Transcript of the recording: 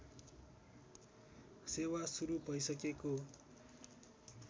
सेवा सुरु भइसकेको